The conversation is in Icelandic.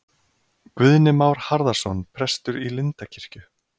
Guðni Már Harðarson prestur í Lindakirkju